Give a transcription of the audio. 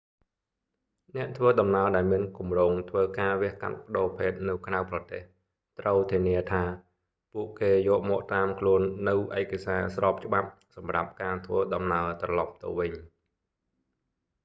អ្នកធ្វើដំណើរដែលមានគម្រោងធ្វើការវះកាត់ប្តូរភេទនៅក្រៅប្រទេស ត្រូវធានាថា ពួកគេយកមកតាមខ្លួននូវឯកសារស្របច្បាប់សម្រាប់ការធ្វើដំណើរត្រឡប់ទៅវិញ